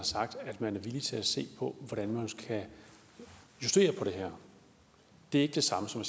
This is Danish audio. sagt at man er villig til at se på hvordan man kan justere på det her det er ikke det samme som